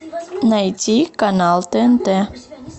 найти канал тнт